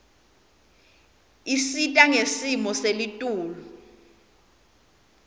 isita ngesimo selitulu